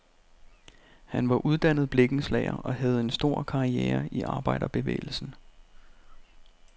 Han var uddannet blikkenslager og havde en stor karriere i arbejderbevægelsen.